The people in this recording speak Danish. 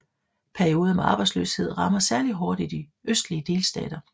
Perioder med arbejdsløshed rammer særlig hårdt i de østlige delstater